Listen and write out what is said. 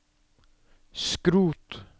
skrot